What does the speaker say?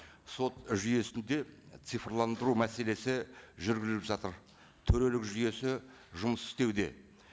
сот жүйесінде цифрландыру мәселесі жүргізіліп жатыр төрелік жүйесі жұмыс істеуде